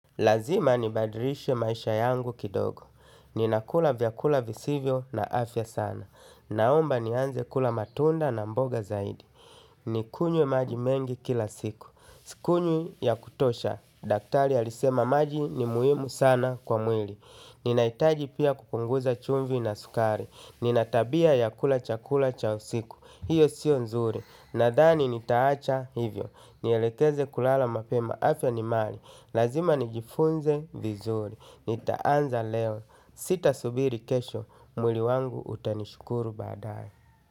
Lazima nibadilishe maisha yangu kidogo. Ninakula vyakula visivyo na afya sana. Naomba nianze kula matunda na mboga zaidi. Nikunywe maji mengi kila siku. Sikunywi ya kutosha. Daktari alisema maji ni muhimu sana kwa mwili. Ninahitaji pia kupunguza chumvi na sukari. Nina tabia ya kula chakula cha usiku. Hiyo sio nzuri. Nadhani nitaacha hivyo. Nielekeze kulala mapema, afya ni mali. Lazima nijifunze vizuri, nitaanza leo. Sitasubiri kesho, mwili wangu utanishukuru baadae.